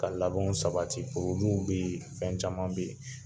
Ka labɛnw sabati bɛ yen fɛn caman bɛ yen